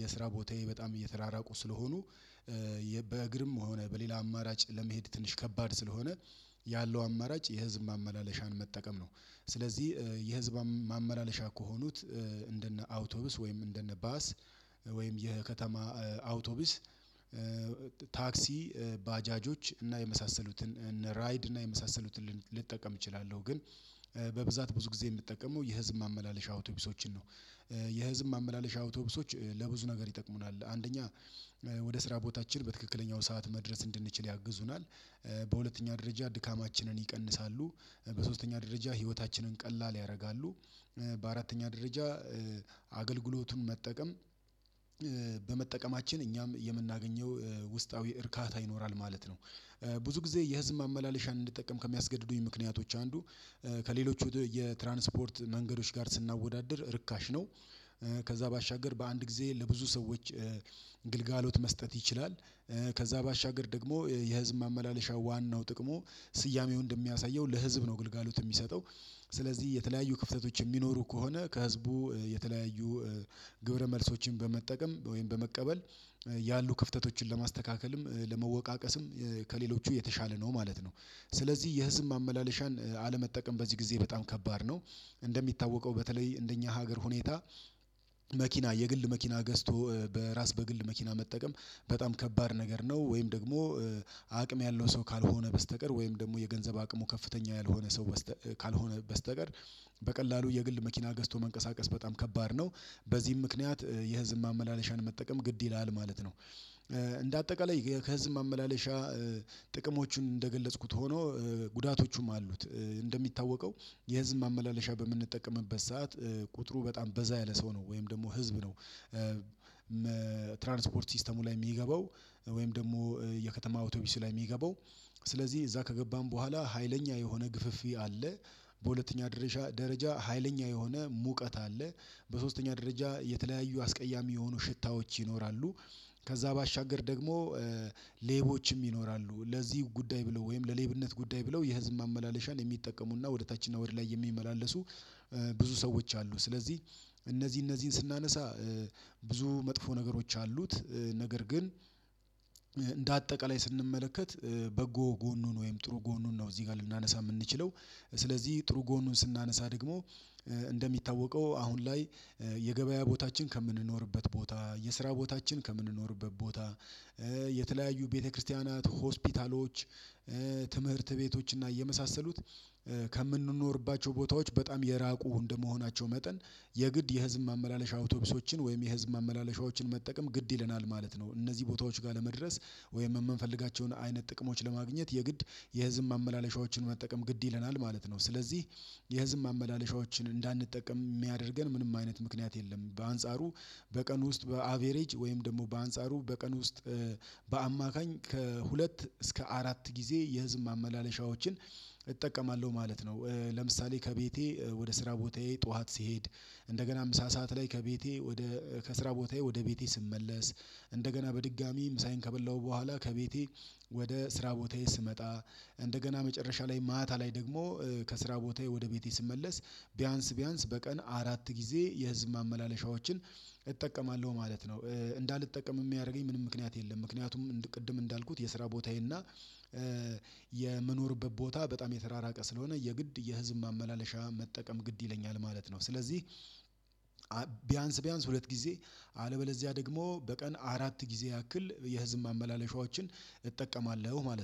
የስራ ቦታዬ በጣም እየተራራቁ ስለሆኑ በእግርም ሆነ በሌላ አማራጭ ለመሄድ ትንሽ ከባድ ስለሆነ ያለው አማራጭ የህዝብ ማመላለሻን መጠቀም ነው። ስለዚህ የህዝብ ማመላለሻ ከሆኑት እንደነ አውቶብስ ወይም እንደነ ባስ ወይም የከተማ አውቶብስ ታክሲ ባጃጆች እና የመሳሰሉትን እነ ራይድ እና የመሳሰሉትን ልጠቀም እችላለሁ ግን በብዛት ብዙ ጊዜ የምጠቀመው የህዝብ ማመላለሻ አውቶቢሶችን ነው። የህዝብ ማመላለሻ አውቶቡሶች ለብዙ ነገር ይጠቅሙናል አንደኛ ወደ ስራ ቦታችን በትክክለኛው ሰዓት መድረስ እንድንችል ያግዙናል። በሁለተኛ ደረጃ ድካማችንን ይቀንሳሉ በሶስተኛ ደረጃ ህይወታችንን ቀላል ያደርጋሉ። በአራተኛ ደረጃ አገልግሎቱን መጠቀም በመጠቀማችን እኛም የምናገኘው ውስጣዊ እርካታ ይኖራል ማለት ነው። ብዙ ጊዜ የህዝብ ማመላለሻን እንድጠቀም ከሚያስገድዱኝ ምክንያቶች አንዱ ከሌሎች የትራንስፖርት መንገዶች ጋር ስናወዳድር ርካሽ ነው። ከዛ ባሻገር በአንድ ጊዜ ለብዙ ሰዎች ግልጋሎት መስጠት ይችላል። ከዛ ባሻገር ደግሞ የህዝብ ማመላለሻ ዋናው ጥቅሙ ስያሜው እንደሚያሳየው ለህዝብ ነው ግልጋሎት የሚሰጠው ስለዚህ የተለያዩ ክፍተቶች የሚኖሩ ከሆነ ከህዝቡ የተለያዩ ግብረ መልሶችን በመጠቀም ወይም በመቀበል ያሉ ክፍተቶችን ለማስተካከልም ለመወቃቀስም ከሌሎቹ የተሻለ ነው ማለት ነው። ስለዚህ የህዝብ ማመላለሻን አለመጠቀም በዚህ ጊዜ በጣም ከባድ ነው። እንደሚታወቀው በተለይ እንደኛ ሀገር ሁኔታ መኪና የግል መኪና ገዝቶ በራስ በግል መኪና መጠቀም በጣም ከባድ ነገር ነው ወይም ደግሞ አቅም ያለው ሰው ካልሆነ በስተቀር ወይም ደግሞ የገንዘብ አቅሙ ከፍተኛ ያልሆነ ሰው ካልሆነ በስተቀር በቀላሉ የግል መኪና ገዝቶ መንቀሳቀስ በጣም ከባድ ነው። በዚህም ምክንያት የህዝብ ማመላለሻን መጠቀም ግድ ይላል ማለት ነው። እንደ አጠቃላይ ከዚህ ማመላለሻ ጥቅሞቹን እንደገለጽኩት ሆኖ ጉዳቶቹም አሉት እንደሚታወቀው የህዝብ ማመላለሻ በምንጠቀምበት ሰዓት ቁጥሩ በጣም በዛ ያለ ሰው ነው ወይም ደግሞ ህዝብ ነው። ትራንስፖርት ሲስተሙ ላይ የሚገባው ወይም ደግሞ የከተማ ኦቶቢስ ላይ የሚገባው ስለዚህ እዛ ከገባን በኋላ ሀይለኛ የሆነ ግፍፊ አለ። በሁለተኛ ደረጃ ሀይለኛ የሆነ ሙቀት አለ። በሶስተኛ ደረጃ የተለያዩ አስቀያሚ የሆኑ ሽታዎች ይኖራሉ። ከዛ ባሻገር ደግሞ ሌቦችም ይኖራሉ ለዚህ ጉዳይ ብለው ወይም ለሌብነት ጉዳይ ብለው የህዝብ ማመላለሻን የሚጠቀሙና ወደ ታች እና ወደ ላይ የሚመላለሱ ብዙ ሰዎች አሉ። ስለዚህ እነዚህ እነዚህን ስናነሳ ብዙ መጥፎ ነገሮች አሉት ነገር ግን እንደ አጠቃላይ ስንመለከት በጎ ጎኑን ወይም ጥሩ ጎኑን ነው። እዚህ ጋር ልናነሳ የምንችለው ስለዚህ ጥሩ ጎኑን ስናነሳ ደግሞ እንደሚታወቀው አሁን ላይ የገበያ ቦታችን ከምንኖርበት ቦታ የስራ ቦታችን ከምንኖርበት ቦታ የተለያዩ ቤተክርስቲያናት ሆስፒታሎች ትምህርት ቤቶች እና እየመሳሰሉት ከምንኖርባቸው ቦታዎች በጣም የራቁ እንደመሆናቸው መጠን የግድ የህዝብ ማመላለሻ አውቶቡሶችን ወይም የህዝብ ማመላለሻዎችን መጠቀም ግድ ይለናል ማለት ነው። እነዚህ ቦታዎች ጋር ለመድረስ ወይም የምንፈልጋቸውን አይነት ጥቅሞች ለማግኘት የግድ የህዝብ ማመላለሻዎችን መጠቀም ግድ ይለናል ማለት ነው። ስለዚህ የህዝብ ማመላለሻዎችን እንዳንጠቀም የሚያደርገን ምንም አይነት ምክንያት የለም። በአንጻሩ በቀን ውስጥ በአቬሬጅ ወይም ደግሞ በአንጻሩ በቀን ውስጥ በአማካኝ ከሁለት እስከ አራት ጊዜ የህዝብ ማመላለሻዎችን እጠቀማለሁ ማለት ነው። ለምሳሌ ከቤቴ ወደ ስራ ቦታዬ ጠዋት ሲሄድ እንደገና ምሳ ሰዓት ላይ ከቤቴ ወደ ከስራ ቦታዬ ወደ ቤቴ ስመለስ እንደገና በድጋሚ ምሳዬን ከበላሁ በኋላ ከቤቴ ወደ ስራ ቦታዬ ስመጣ እንደገና መጨረሻ ላይ ማታ ላይ ደግሞ ከስራ ቦታዬ ወደ ቤቴ ስመለስ ቢያንስ ቢያንስ በቀን አራት ጊዜ የህዝብ ማመላለሻዎችን እጠቀማለሁ ማለት ነው። እንዳልጠቀም የሚያደርገኝ ምንም ምክንያት የለም። ምክንያቱም ቅድም እንዳልኩት የስራ ቦታዬ እና የምኖርበት ቦታ በጣም የተራራቀ ስለሆነ የግድ የህዝብ ማመላለሻ መጠቀም ግድ ይለኛል ማለት ነው። ስለዚህ ቢያንስ ቢያንስ ሁለት ጊዜ አለበለዚያ ደግሞ በቀን አራት ጊዜ ያክል የህዝብ ማመላለሻዎችን እጠቀማለሁ ማለት ነው